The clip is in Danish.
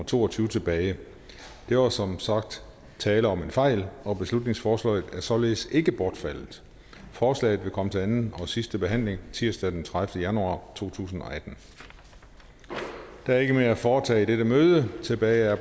to og tyve tilbage der var som sagt tale om en fejl og beslutningsforslaget er således ikke bortfaldet forslaget vil komme til anden og sidste behandling tirsdag den tredivete januar to tusind og atten der er ikke mere at foretage i dette møde tilbage er